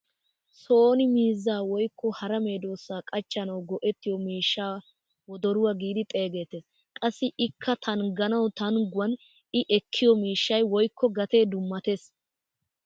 Soni miizzaa woykko hara meedosata qachchanawu go"ettiyoo miishshaa wodoruwaa giidi xeegettees. qassi ikka tangguwaan tangguwaan i ekkiyoo miishshay woykko gatee dummatees.